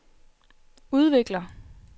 udvikler